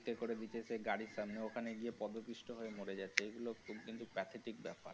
হাতে করে নিতে এসে গাড়ির সামনে ওখানে গিয়ে পদপিষ্ট হয়ে মোর যাচ্ছে এগুলো খুব কিন্তু pathetic ব্যাপার।